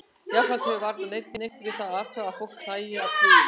Jafnframt hefur varla neinn neitt við það að athuga að fólk hlæi að trúðum.